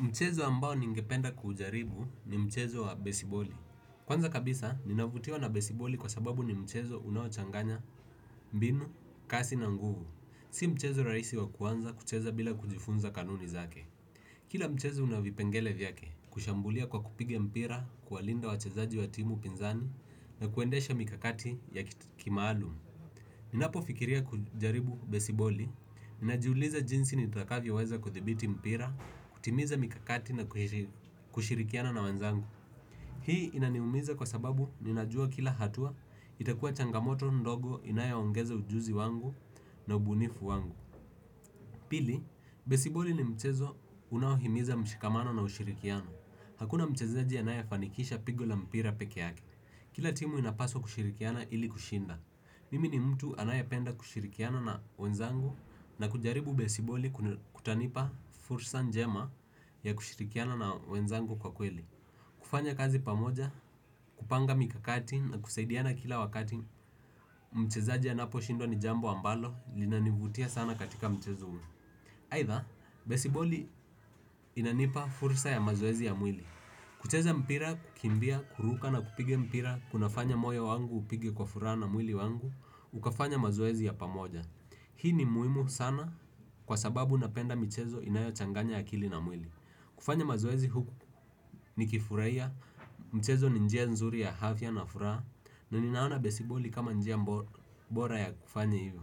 Mchezo ambao ningependa kujaribu ni mchezo wa besiboli. Kwanza kabisa ninavutiwa na besiboli kwa sababu ni mchezo unaochanganya mbinu kasi na nguvu. Si mchezo raisi wa kuanza kucheza bila kujifunza kanuni zake. Kila mchezo unavipengele vyake kushambulia kwa kupiga mpira, kuwalinda wachezaji wa timu pinzani na kuendesha mikakati ya kimaalum. Ninapo fikiria kujaribu besiboli, ninajiuliza jinsi nitakavyo weza kuthibiti mpira, kutimiza mikakati na kushirikiana na wanzangu hii inaniumiza kwa sababu ninajua kila hatua, itakua changamoto ndogo inayp ongeza ujuzi wangu na ubunifu wangu. Pili, besiboli ni mchezo unaohimiza mshikamano na ushirikiano, hakuna mchezaji anaya fanikisha pigo la mpira peke yake kila timu inapaswa kushirikiana ili kushinda. Mimi ni mtu anayapenda kushirikiana na wenzangu na kujaribu besiboli kutanipa fursa njema ya kushirikiana na wenzangu kwa kweli. Kufanya kazi pamoja, kupanga mikakati na kusaidiana kila wakati, mchezaji anapo shinda ni jambo ambalo linanivutia sana katika mchezo huu. Haitha, besiboli inanipa fursa ya mazoezi ya mwili. Kucheza mpira, kukimbia, kuruka na kupiga mpira, kunafanya moyo wangu upige kwa furaha na mwili wangu, ukafanya mazoezi ya pamoja. Hii ni muimu sana kwa sababu napenda mchezo inayo changanya akili na mwili. Kufanya mazoezi huku nikifurahia mchezo ni njia nzuri ya afya na furaha naaona besiboli kama njia bora ya kufanya hivyo.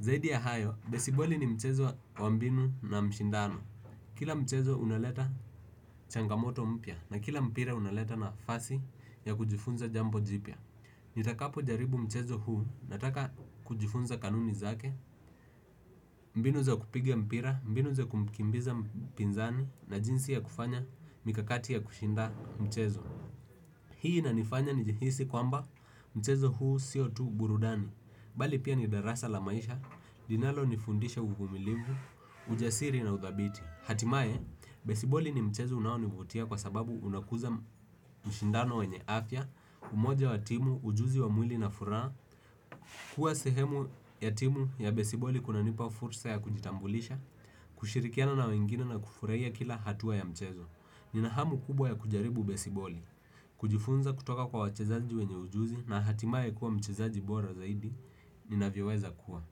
Zaidi ya hayo, besiboli ni mchezo wa mbinu na mshindano. Kila mchezo unaleta changamoto mpya na kila mpira unaleta nafasi ya kujifunza jampo jipya. Nitakapo jaribu mchezo huu nataka kujifunza kanuni zake, mbinu za kupiga mpira, mbinu za kumkimbiza pinzani na jinsi ya kufanya mikakati ya kushinda mchezo. Hii na nifanya ni jihisi kwamba mchezo huu sio tu burudani, bali pia ni darasa la maisha, linalo nifundisha uvumilivu, ujasiri na uthabiti. Hatimaye, besiboli ni mchezo unaonivutia kwa sababu unakuza mshindano wenye afya, umoja wa timu, ujuzi wa mwili na furaha, kuwa sehemu ya timu ya besiboli kunanipa fursa ya kujitambulisha, kushirikiana na wengine na kufurahia kila hatua ya mchezo. Nina hamu kubwa ya kujaribu besiboli, kujifunza kutoka kwa wachezaji wenye ujuzi na hatimaye kuwa mchezaji bora zaidi, ninavyoweza kuwa.